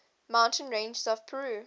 mountain ranges of peru